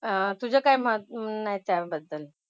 अह तुझं काय मत आहे त्याबद्दल?